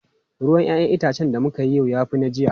Ruwan 'ya'yan itacen da muka yi yau ya fi na jiya.